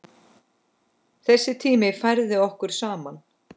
Þessi tími færði okkur saman.